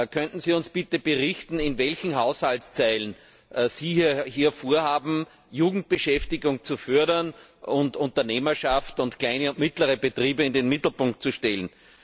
Könnten Sie uns bitte berichten, in welchen Haushaltszeilen Sie vorhaben, Jugendbeschäftigung zu fördern und Unternehmerschaft und kleine und mittlere Betriebe in den Mittelpunkt zu stellen?